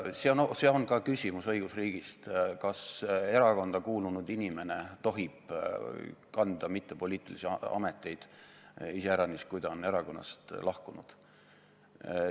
Ka see on küsimus õigusriigist, kas erakonda kuulunud inimene tohib olla mittepoliitilistel ametikohtadel, iseäranis siis, kui ta on erakonnast lahkunud.